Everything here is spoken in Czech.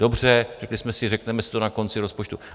Dobře, řekli jsme si, řekneme si to na konci rozpočtu.